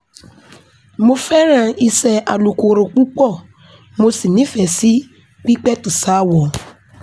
mo fẹ́ràn iṣẹ́ alùkòrò púpọ̀ mo sì nífẹ̀ẹ́ sí pípẹ̀tù ṣaáwọ̀